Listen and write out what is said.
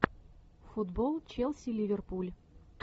футбол челси ливерпуль